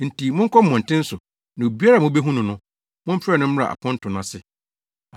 Enti monkɔ mmɔnten so na obiara a mubehu no no, momfrɛ no mmra aponto no ase.’